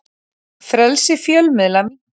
Frelsi fjölmiðla minnkar